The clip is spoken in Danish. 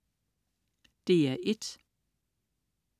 DR1: